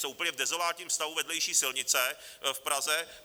Jsou úplně v dezolátním stavu vedlejší silnice v Praze.